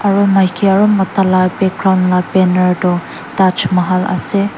aro maiki aro mota la background la banner toh Taj Mahal .